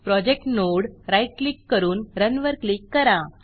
project node right click करून run run वर click करा